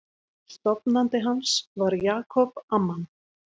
Stofnandi hans var Jacob Amman.